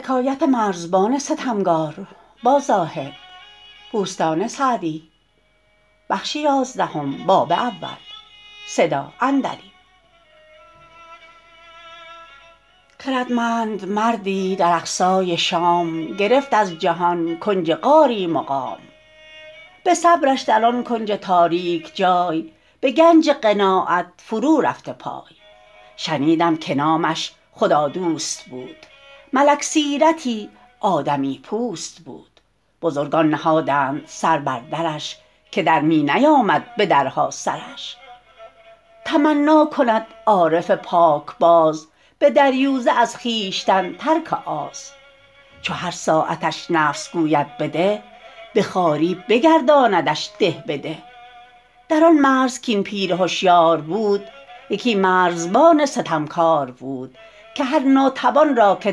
خردمند مردی در اقصای شام گرفت از جهان کنج غاری مقام به صبرش در آن کنج تاریک جای به گنج قناعت فرو رفته پای شنیدم که نامش خدادوست بود ملک سیرتی آدمی پوست بود بزرگان نهادند سر بر درش که در می نیامد به درها سرش تمنا کند عارف پاکباز به دریوزه از خویشتن ترک آز چو هر ساعتش نفس گوید بده به خواری بگرداندش ده به ده در آن مرز کاین پیر هشیار بود یکی مرزبان ستمکار بود که هر ناتوان را که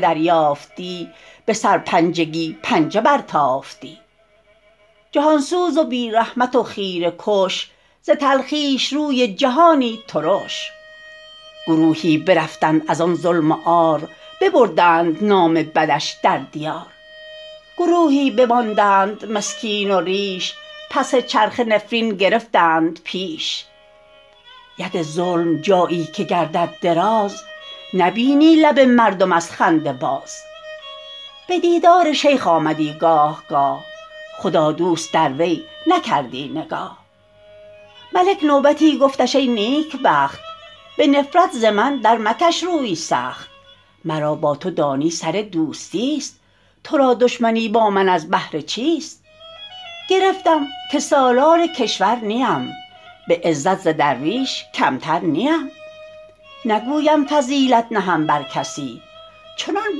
دریافتی به سرپنجگی پنجه برتافتی جهان سوز و بی رحمت و خیره کش ز تلخیش روی جهانی ترش گروهی برفتند از آن ظلم و عار ببردند نام بدش در دیار گروهی بماندند مسکین و ریش پس چرخه نفرین گرفتند پیش ید ظلم جایی که گردد دراز نبینی لب مردم از خنده باز به دیدار شیخ آمدی گاه گاه خدادوست در وی نکردی نگاه ملک نوبتی گفتش ای نیکبخت به نفرت ز من در مکش روی سخت مرا با تو دانی سر دوستی است تو را دشمنی با من از بهر چیست گرفتم که سالار کشور نیم به عزت ز درویش کمتر نیم نگویم فضیلت نهم بر کسی چنان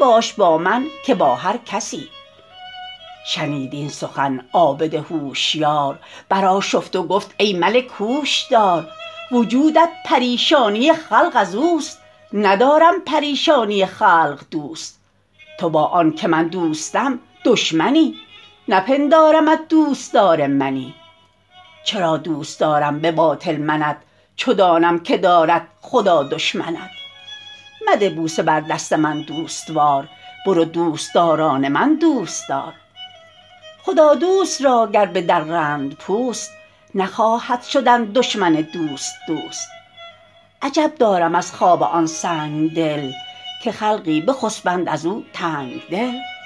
باش با من که با هر کسی شنید این سخن عابد هوشیار بر آشفت و گفت ای ملک هوش دار وجودت پریشانی خلق از اوست ندارم پریشانی خلق دوست تو با آن که من دوستم دشمنی نپندارمت دوستدار منی چرا دوست دارم به باطل منت چو دانم که دارد خدا دشمنت مده بوسه بر دست من دوستوار برو دوستداران من دوست دار خدادوست را گر بدرند پوست نخواهد شدن دشمن دوست دوست عجب دارم از خواب آن سنگدل که خلقی بخسبند از او تنگدل